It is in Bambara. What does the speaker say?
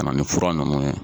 Ka na ni fura nunnu ye